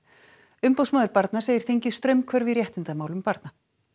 umboðsmaður barna segir þingið straumhvörf í réttindamálum barna